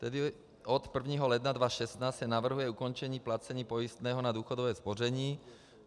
Tedy od 1. ledna 2016 se navrhuje ukončení placení pojistného na důchodové spoření.